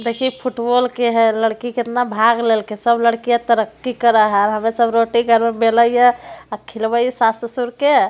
देखहि football के है लड़की कितना भाग लेलकै सब लड़किया तरक्की कर है और हमे सब रोटी घर मे बेल हिये और खिलव हिये सास ससुर के।